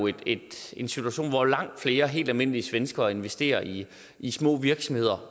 jo en situation hvor langt flere helt almindelige mennesker investerer i i små virksomheder